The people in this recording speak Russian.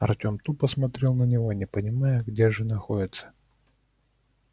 артём тупо смотрел на него не понимая где же находится